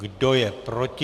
Kdo je proti?